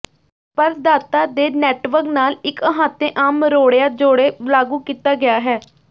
ਪ੍ਰਦਾਤਾ ਦੇ ਨੈੱਟਵਰਕ ਨਾਲ ਇੱਕ ਅਹਾਤੇ ਆਮ ਮਰੋੜਿਆ ਜੋੜੇ ਲਾਗੂ ਕੀਤਾ ਗਿਆ ਹੈ